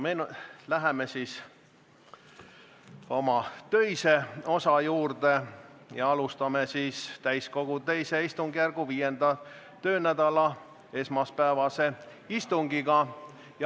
Läheme siis töise osa juurde ja alustame täiskogu II istungjärgu 5. töönädala esmaspäevast istungit.